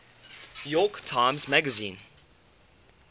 york times magazine